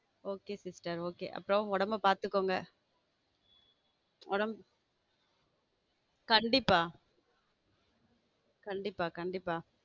Okay sister okay அப்பரம் உடம்ப பாத்துக்கோங் உடம்பு கண்டிப்பா கண்டிப்பா கண்டிப்பா.